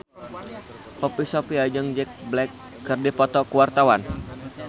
Poppy Sovia jeung Jack Black keur dipoto ku wartawan